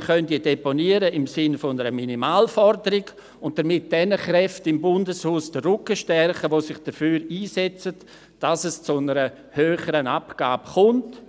Wir können diese im Sinn einer Minimalforderung deponieren und damit jenen Kräften im Bundeshaus den Rücken stärken, die sich dafür einsetzen, dass es zu einer höheren Abgabe kommen wird